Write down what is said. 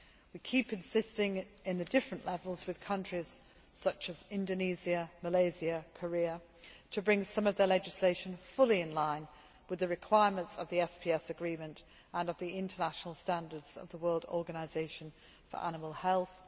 We keep insisting on the different levels with countries such as Indonesia, Malaysia and Korea, to bring some of their legislation fully in line with the requirements of the SPS agreement and of the international standards of the World Organisation for Animal Health.